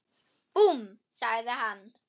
Búmm! sagði hann.